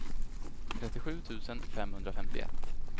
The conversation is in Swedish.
trettiosju tusen femhundrafemtioett